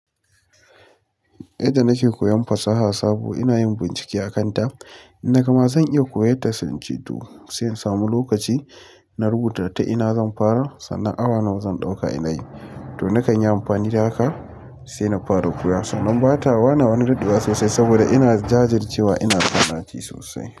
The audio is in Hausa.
Yanda nake koyan fasaha sabo inayin bincike akan ta in na ga ma zan iya koyan ta sai in ce to sai in sami lokaci na rubuta ta ina zan fara sannan awa nawa zan dauka ina yi to nakan yi amfani da haka sai na fara koya. Sannan bata wane wani daɗewa sosai saboda ina jajir cewa ina sa ɗaci sosai.